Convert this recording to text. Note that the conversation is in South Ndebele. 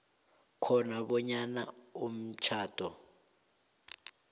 khona bonyana umtjhado